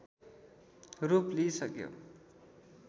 रूप लिइसक्यो